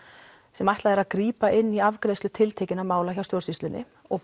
sem ætlað er að grípa inn í afgreiðslu tiltekinna mála hjá stjórnsýslunni og